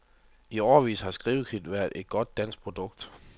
I årevis har skrivekridt været et godt dansk produkt.